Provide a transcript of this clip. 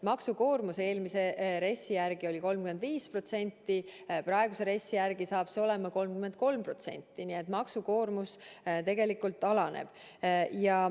Maksukoormus eelmise RES-i järgi oli 35%, praeguse RES-i järgi saab see olema 33%, nii et maksukoormus tegelikult alaneb.